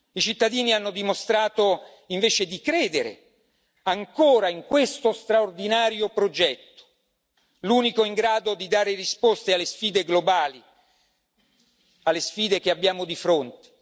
I cittadini hanno dimostrato invece di credere ancora in questo straordinario progetto, l'unico in grado di dare risposte alle sfide globali, alle sfide che abbiamo di fronte.